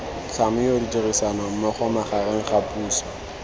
tlhamiwa ditirisanommogo magareng ga puso